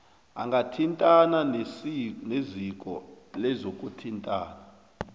angathintana neziko lezokuthintana